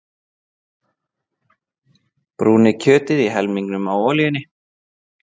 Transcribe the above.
Brúnið kjötið í helmingnum af olíunni.